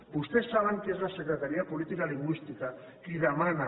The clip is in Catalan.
vostès saben que és la secretaria de política lingüística qui demana